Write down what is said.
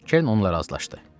Kern onunla razılaşdı.